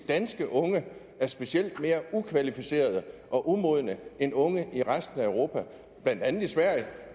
danske unge er specielt mere ukvalificerede og umodne end unge i resten af europa blandt andet i sverige